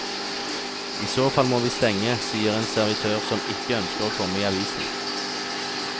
I så fall må vi stenge, sier en servitør som ikke ønsker å komme i avisen.